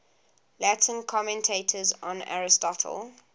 latin commentators on aristotle